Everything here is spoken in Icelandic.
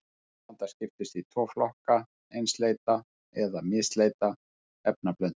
Efnablanda skiptist í tvo flokka, einsleita eða misleita efnablöndu.